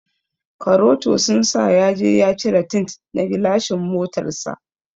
Karoto sun sa yaje ya cire tint na gilashin motar sa.